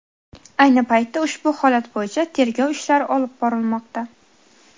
Ayni paytda ushbu holat bo‘yicha tergov ishlari olib borilmoqda.